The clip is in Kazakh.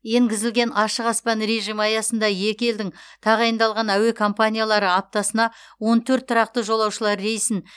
енгізілген ашық аспан режимі аясында екі елдің тағайындалған әуе компаниялары аптасына он төрт тұрақты жолаушылар рейсін